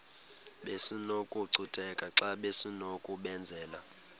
besinokucutheka xa besinokubenzela